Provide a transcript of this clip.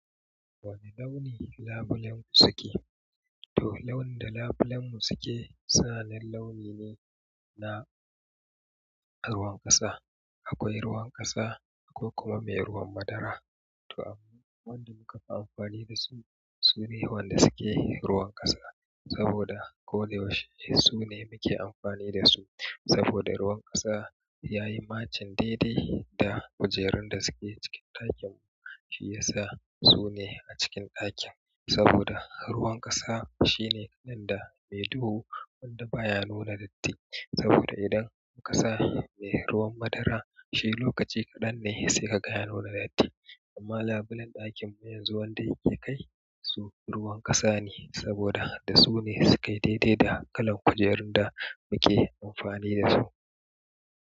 Wane launi labulen suke? To launin da labulen mu suke sahalin launi ne na ruwan ƙasa. Akwai ruwan ƙasa akwai kuma mai ruwan madara. To, wanda muka fi amfani da shi, sune wanda suke ruwan ƙasa. Saboda ko da yaushe sune muke amfani da su. Saboda ruwan ƙasa yayi matching daidai da kujerun da suke cikin ɗakin mu shiyasa sune a cikin ɗakin. Saboda ruwan ƙasa shine kalan da mai duhu wanda baya nuna datti. Saboda idan ƙasa mai ruwan madara, shi lokaci kaɗan ne sai kaga ya nuna datti. Amma labulen ɗakin mu yanzu wanda yake kai su ruwan ƙasa ne saboda da su ne suka yi daidai da kalan kujerun da muke amfani da su.